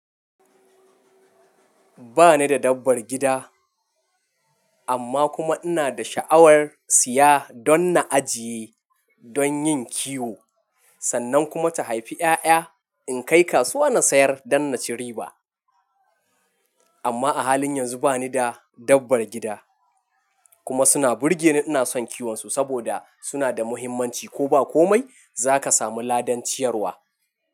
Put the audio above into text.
Ba ni da dabbar gida, amma kuma ina da sha'awar siya don na ajiye don yin kiwo, sannan kuma ta haifi ƴaƴa. In kai kasuwa na sayar don na ci riba. Amma a halin yanzu ba ni da dabbar gida kuma suna burge ni. Ina son kiwonsu saboda suna da muhimmanci. Ko ba komai za ka samu ladan ciyarwa.